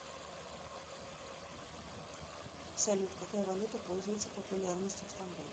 салют какая валюта пользуется популярностью в стамбуле